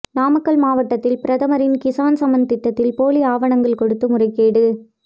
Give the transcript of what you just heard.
நாமக்கல் மாவட்டத்தில் பிரதமரின் கிசான் சம்மான் திட்டத்தில் போலி ஆவணங்கள் கொடுத்து முறைகேடு